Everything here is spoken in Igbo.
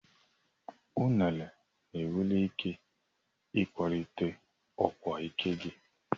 Unere nwere ike ịkwalite ọkwa ike gị.